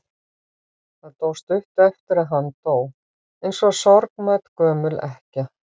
Það dó stuttu eftir að hann dó, eins og sorgmædd gömul ekkja.